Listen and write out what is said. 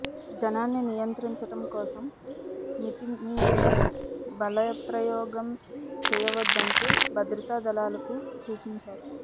జనాన్ని నియంత్రించటం కోసం మితిమీరిన బలప్రయోగం చేయవద్దంటూ భద్రతాదళాలకు సూచించారు